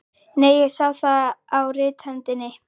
Nei, ég sá það á rithöndinni.